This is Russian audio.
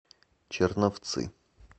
черновцы